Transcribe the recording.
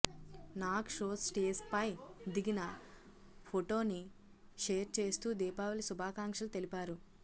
Nag show స్టేజ్పై దిగిన ఫొటోని షేర్ చేస్తూ దీపావళి శుభాకాంక్షలు తెలిపారు